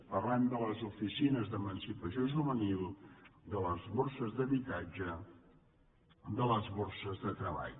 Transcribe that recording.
parlem de les oficines d’emancipació juvenil de les borses d’habitatge de les borses de treball